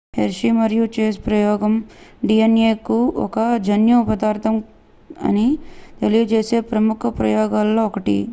hershey మరియు chase ప్రయోగం dna ఒక జన్యు పదార్ధం అని తెలియజేసే ప్రముఖ ప్రయోగాలలో ఒకటి